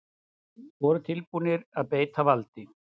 Voru tilbúnir að beita valdi